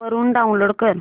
वरून डाऊनलोड कर